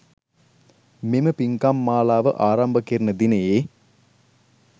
මෙම පිංකම් මාලාව ආරම්භ කෙරෙන දිනයේ